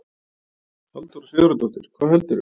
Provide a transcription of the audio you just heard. Halldóra Sigurðardóttir: Hvað heldurðu?